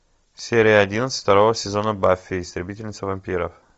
серия одиннадцать второго сезона баффи истребительница вампиров